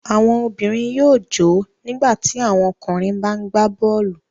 Àwọn obìnrin yóò jò ó nígbà tí àwọn ọkùnrin bá ń gbá bọ́ọ́lù.